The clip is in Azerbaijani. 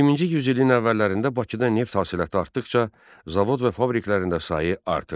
20-ci yüzilin əvvəllərində Bakıda neft hasilatı artdıqca, zavod və fabriklərində sayı artırdı.